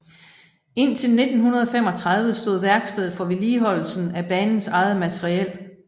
Indtil 1935 stod værkstedet for vedligeholdelsen af banens eget materiel